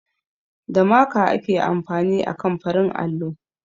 Da maka ake amfani akan farin allo